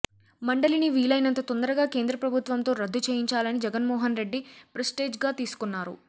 మండలిని వీలైనంత తొందరగా కేంద్రప్రభుత్వంతో రద్దు చేయించాలని జగన్మోహన్ రెడ్డి ప్రిస్టేజ్ గా తీసుకున్నారు